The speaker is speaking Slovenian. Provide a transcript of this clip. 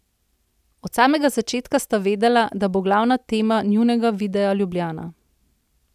Od samega začetka sta vedela, da bo glavna tema njunega videa Ljubljana.